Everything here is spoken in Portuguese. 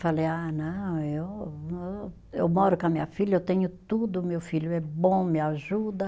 Falei, ah não, eu hum, eu moro com a minha filha, eu tenho tudo, meu filho é bom, me ajuda.